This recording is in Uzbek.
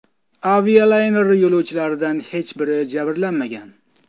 Avialayner yo‘lovchilaridan hech biri jabrlanmagan.